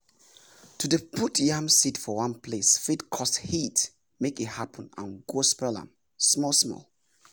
to dey put yam seed for one place fit cause heat make e happen and go spoil m small small